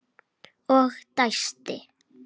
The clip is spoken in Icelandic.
Og dæsti.